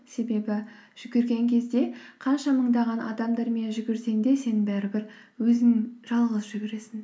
себебі жүгірген кезде қанша мыңдаған адамдармен жүгірсең де сен бәрібір өзің жалғыз жүгіресің